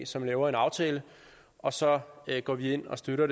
som laver en aftale og så går vi ind og støtter